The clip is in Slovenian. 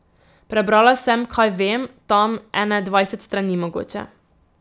Prebrala sem, kaj vem, tam, ene dvajset strani mogoče.